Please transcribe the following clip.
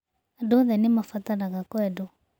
Andũ othe nĩ mabataraga kwendwo.